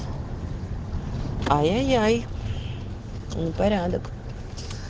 ай ай ай не порядок